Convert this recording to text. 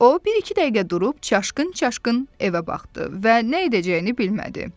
O, bir-iki dəqiqə durub çaşqın-çaşqın evə baxdı və nə edəcəyini bilmədi.